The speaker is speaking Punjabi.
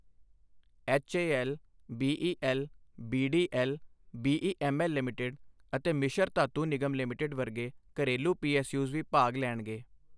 HAL, BEL, BDL, BEML limited ਅਤੇ ਮਿਸ਼ਰ ਧਾਤੂ ਨਿਗਮ ਲਿਮਿਟਿਡ ਵਰਗੇ ਘਰੇਲੂ ਪੀਐੱਸਯੂਜ਼ ਵੀ ਭਾਗ ਲੈਣਗੇ।